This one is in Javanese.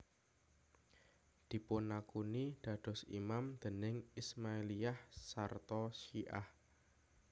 Dipunakuni dados imam dening Ismailiyah sarta Syiah